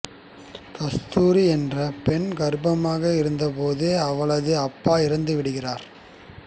கஸ்தூரி என்ற பெண் கர்ப்பமாக இருந்த போது அவளது அப்பா இறந்துவிடுகிறார்